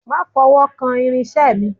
Má fọwọ́kan àwọn irinṣẹ́ mi